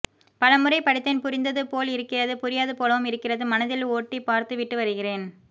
பலமுறை படித்தேன் புரிந்தது போல் இருக்கிறது புரியாது போலவும் இருக்கிறது மனதில் ஓட்டி பார்த்துவிட்டு வருகிறேன்